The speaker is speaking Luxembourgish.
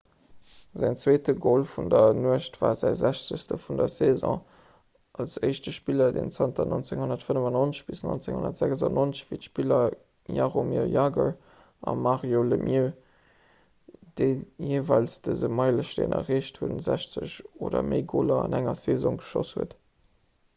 säin zweete gol vun der nuecht war säi 60 vun der saison als éischte spiller deen zanter 1995 - 1996 wéi d'spiller jaromir jagr an mario lemieux déi jeeweils dëse meilesteen erreecht hunn 60 oder méi goler an enger saison geschoss huet